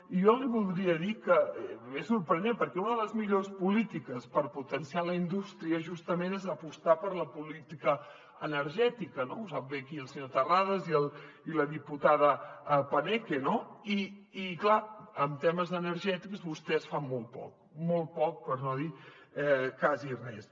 i jo li voldria dir que és sorprenent perquè una de les millors polítiques per potenciar la indústria justament és apostar per la política energètica ho saben bé aquí el senyor terrades i la diputada paneque no i clar en temes energètics vostès fan molt poc molt poc per no dir quasi res